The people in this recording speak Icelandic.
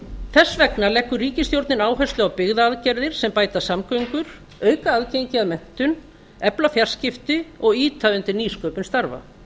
þess vegna leggur ríkisstjórnin áherslu á byggðaaðgerðir sem bæta samgöngur auka aðgengi að menntun efla fjarskipti og ýta undir nýsköpun starfa